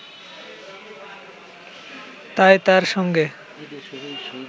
তাই তার সঙ্গে